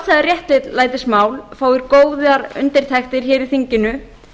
að þetta sjálfsagða réttlætismál fái góðar undirtektir hér í þinginu